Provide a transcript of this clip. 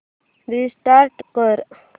restart कर